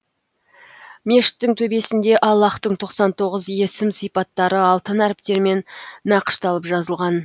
мешіттің төбесінде аллаһтың тоқсан тоғыз есім сипаттары алтын әріптермен нақышталып жазылған